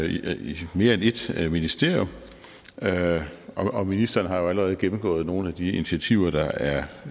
i mere end ét ministerium og ministeren har jo allerede gennemgået nogle af de initiativer der er